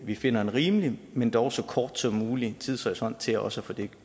vi finder en rimelig men dog så kort som mulig tidshorisont til også at få det